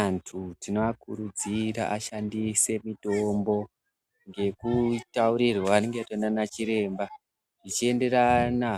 Antu tinoakurudzira ashandise mitombo ngekutaurirwa anenge aitwa ngana chiremba, zvichienderana